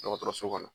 Dɔgɔtɔrɔso kɔnɔ